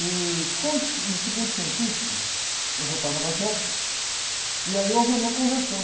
E, quando, no segundo científico, eu já estava na jéqui, e aí houve a minha conversão.